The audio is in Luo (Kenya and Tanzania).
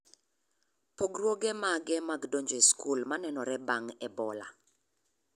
Pogruoge mage mag donjo e skul manenore bang' Ebola